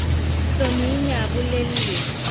hlomi o ne a bolelle